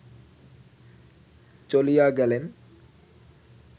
চলিয়া গেলেন